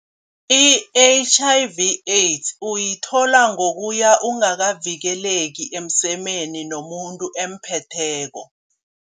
I-H_I_V AIDS uyithola ngokuya ungakavikeleki emsemeni nomuntu emphetheko.